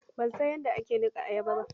Ban san yadda ake nuka ayaba ba.